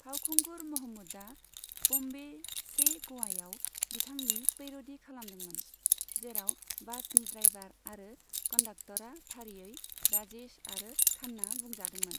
फावखुंगुर महमूदआ बम्बे से गवायाव बिथांनि पैर'डी खालामदोंमोन, जेराव बासनि ड्राइभार आरो कन्डाक्तरा फारियै 'राजेश' आरो 'खान्ना' बुंजादोंमोन।